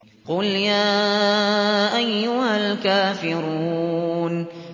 قُلْ يَا أَيُّهَا الْكَافِرُونَ